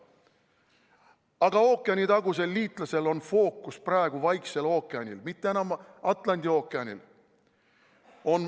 Aga ookeanitagusel liitlasel on fookus praegu Vaiksel ookeanil, mitte enam Atlandi ookeanil.